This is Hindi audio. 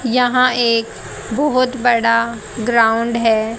यहां एक बहोत बड़ा ग्राउंड है।